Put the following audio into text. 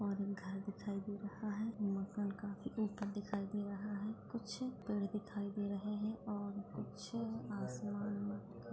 और एक घर दिखाई दे रहा है मकान काफी ऊपर दिखाई दे रहा है कुछ पेड़ दिखाई दे रहै है और कुछ आसमान भी --